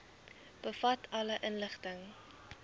bevat alle inligting